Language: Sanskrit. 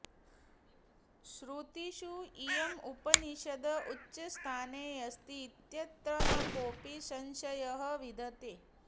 श्रुतिषु इयम् उपनिषत् उच्चस्थाने अस्ति इत्यत्र न कोपि संशयः विद्यते